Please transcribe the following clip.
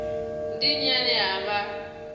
ndi nnyi ane a vha